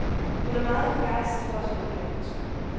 Hun er meget begejstret for at spille badminton.